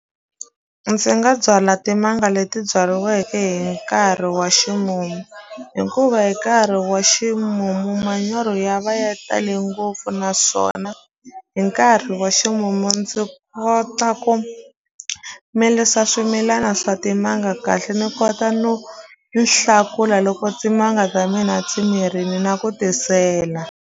Ndzi nga byala timanga leti byariweke hi nkarhi wa ximumu hikuva hi nkarhi wa ximumu manyoro ya va ya tale ngopfu naswona hi nkarhi wa ximumu ndzi kota ku milisa swimilana swa timanga kahle ni kota no nhlakula loko timanga ta mina ti mirini na ku tisela.